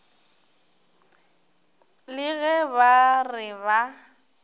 le ge ba re ba